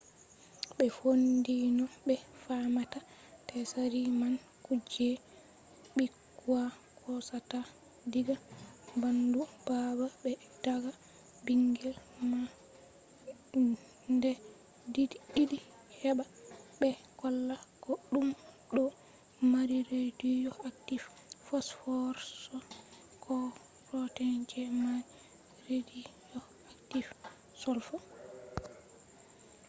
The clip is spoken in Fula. ɓe fondi no ɓe famata tsari man kuje ɓikkoi hosata diga ɓandu baba be dada ɓingel man nde ɗiɗi heɓa ɓe holla ko ɗum ɗo mari rediyo aktif fosforos ko protin je mari rediyo aktif solfo